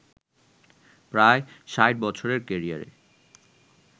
প্রায় ৬০ বছরের ক্যারিয়ারে